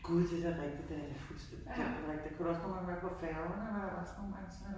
Gud det da rigtigt, det havde jeg da fuldstændig glemt det rigtigt. Det kunne da også nogle gange være på færgerne og så nogle gange så